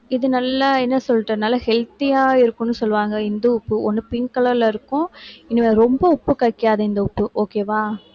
இது நல்லா என்ன சொல்றது நல்லா healthy ஆ இருக்கும்னு சொல்லுவாங்க இந்து உப்பு ஒண்ணு pink colour ல இருக்கும் இன்~ ரொம்ப உப்பு கரிக்காது இந்த உப்பு okay வா